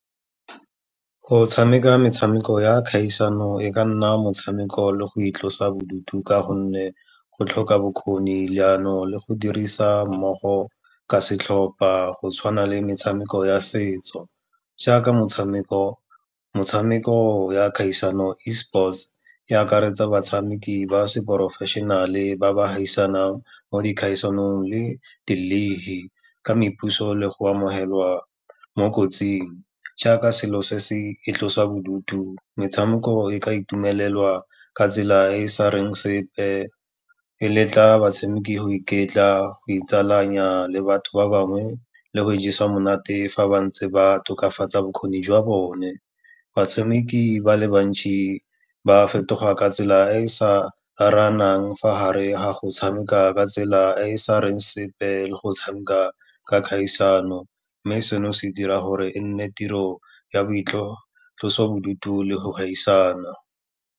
Go tshameka metshameko ya kgaisano e ka nna motshameko le go itlosabodutu ka gonne go tlhoka bokgoni, leano le go dirisa mmogo ka setlhopa, go tshwana le metshameko ya setso. Jaaka motshameko ya kgaisano E sports e akaretsa batshameki ba seporofešenale ba ba gaisanang mo dikgaisanong le ka mepuso le go amogeloa mo kotsing. Jaaka selo se se itlosabodutu, metshameko e ka itumelela ka tsela e e sa reng sepe, e letlang batshameki go iketla, go itsalanya le batho ba bangwe le go ijesa monate fa bantse ba tokafatsa bokgoni jwa bone. Batshameki ba le bantsi ba fetoga ka tsela e e sa aranang fa hare ha go tshameka ka tsela e e sa reng sepe, le go tshameka ka kgaisano, mme seno se dira gore e nne tiro ya boitlosobodutu le go gaisana.